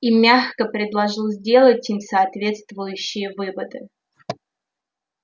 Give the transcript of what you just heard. и мягко предложил сделать им соответствующие выводы